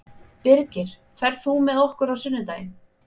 Birgir, ferð þú með okkur á sunnudaginn?